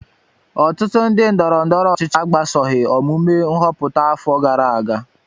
Ọtụtụ ndị ndọrọ ndọrọ ọchịchị agbasoghị omume nhọpụta afọ gara aga